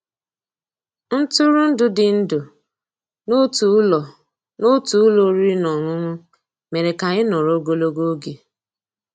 Ntụ́rụ́èndụ́ dị́ ndụ́ n'ótú ụ́lọ́ n'ótú ụ́lọ́ òrìrì ná ọ́nụ́ṅụ́ mérè ká ànyị́ nọ̀rọ́ ògólógó ògé.